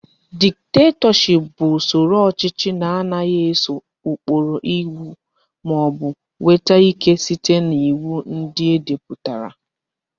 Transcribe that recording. Dịkatọship bụ usoro ọchịchị na-anaghị eso ụkpụrụ iwu maọbụ nweta ị́ké sita n'iwu ndị edepụtara.